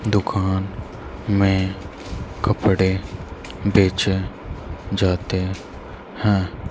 दुकान में कपड़े बेचे जाते हैं।